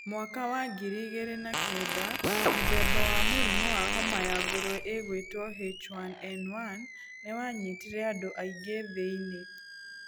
Mwaka wa ngiri igĩrĩ na kenda, mũthemba wa mũrimũ wahoma ya ngũrwe ĩgwĩto H1N1 nĩ wanyitire andũ aingĩ thĩ-inĩ.